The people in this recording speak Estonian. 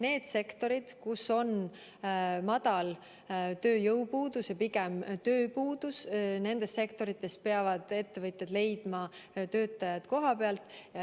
Nendes sektorites, kus on väike tööjõupuudus ja pigem valitseb tööpuudus, peavad ettevõtjad leidma töötajad kohapealt.